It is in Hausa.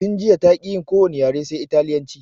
Tun jiya taƙi yin ko wani yare sai italyanci